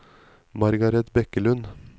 Margaret Bekkelund